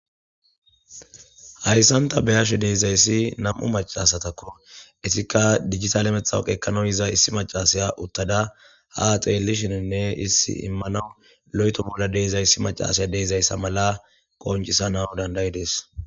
Hayssan ta be7ashe dizayssi nam7u macca asatakko. Ettikka dijitale matawuqe ekkanaw yiza issi maccasiya utada ha xeelishinne issi immanaw loyto bolla de7izayssi macasiya de7izayssa mala qonccisanaw danda7idees.